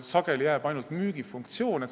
Sageli jääb alles ainult müügifunktsioon.